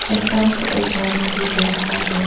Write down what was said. चट्टान से एक झरना भी बह रहा है।